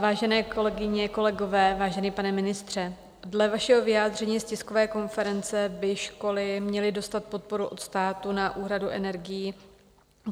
Vážené kolegyně, kolegové, vážený pane ministře, dle vašeho vyjádření z tiskové konference by školy měly dostat podporu od státu na úhradu energií.